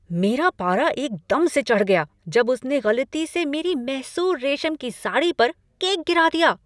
मेरे पारा एकदम से चढ़ गया जब उसने गलती से मेरी मैसूर रेशम की साड़ी पर केक गिरा दिया।